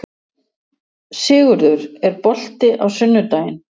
Sigurður, er bolti á sunnudaginn?